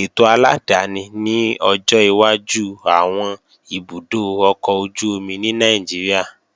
ètò aládáni ni ọjọ́ iwájú àwọn ibùdó ọkọ̀ ojú-omi ní Nàìjíríà